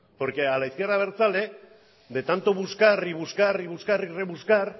porque a la izquierda abertzale de tanto buscar y buscar y buscar y rebuscar